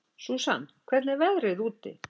Susan, hvernig er veðrið úti?